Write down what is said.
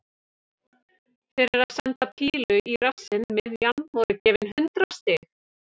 Fyrir að senda pílu í rassinn miðjan voru gefin hundrað stig.